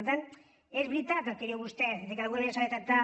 per tant és veritat el que diu vostè que d’alguna manera s’ha de tractar